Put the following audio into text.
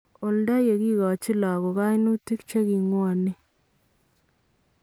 Oldo yee kikochin lakook kainutik chekikwang'en